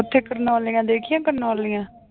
ਉੱਥੇ ਕਰਨੋਲੀਆਂ ਦੇਖੀਆਂ ਕਰਨੋਲੀਆਂ।